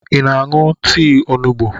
Ị na-aṅụ tii onugbu?